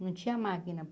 Não tinha máquina.